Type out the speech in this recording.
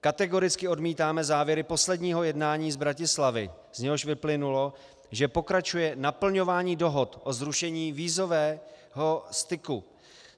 Kategoricky odmítáme závěry posledního jednání z Bratislavy, z něhož vyplynulo, že pokračuje naplňování dohod o zrušení vízového styku.